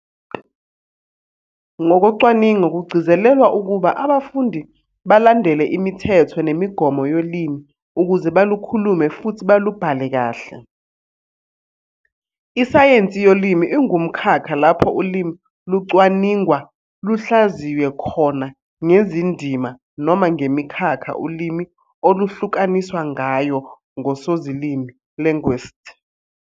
Ngokocwaningo kugcizelelwa ukuba abafundi balandele imithetho nemigomo yolimi ukuze balukhulume futhi balubhale kahle. Isayensi yolimi ingumkhakha lapho ulimi lucwaningwa luhlaziywe khona ngezindima noma ngemikhakha ulimi oluhlukaniswa ngayo ngoSozilimi, linguists.